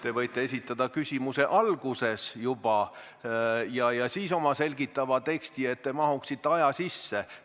Te võite esitada küsimuse kohe alguses ja siis lisada selgitava teksti, et te mahuksite ettenähtud aja sisse.